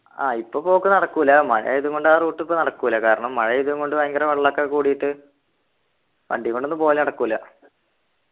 ആഹ് ഇപ്പൊ പോക്ക് നടക്കൂല മഴയായതും കൊണ്ട് ആ route ഇപ്പൊ നടക്കൂല കാരണം മഴയായതും കൊണ്ട് ഭയങ്കര വെള്ളൊക്കെ കൂടീട്ട് വണ്ടീൻകൊണ്ടൊന്നു പോകല് നടക്കൂല